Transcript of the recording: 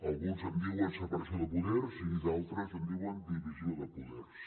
alguns en diuen separació de poders i d’altres en diuen divisió de poders